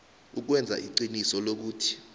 ukwenza iqiniso lokuthi